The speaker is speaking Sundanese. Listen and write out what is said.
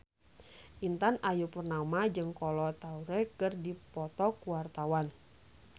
Intan Ayu Purnama jeung Kolo Taure keur dipoto ku wartawan